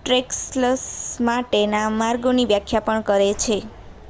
trails માટેના માર્ગોની વ્યાખ્યા પણ કરે